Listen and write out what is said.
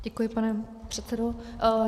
Děkuji, pane předsedo.